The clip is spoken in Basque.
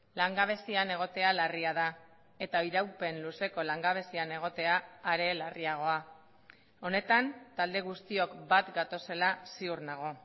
langabezian egotea larria da eta iraupen luzeko langabezian egotea are larriagoa honetan talde guztiok bat gatozela ziur nago